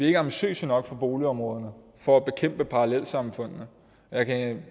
ikke ambitiøse nok i boligområderne for at bekæmpe parallelsamfundene jeg kan